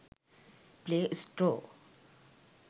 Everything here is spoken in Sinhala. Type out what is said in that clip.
play store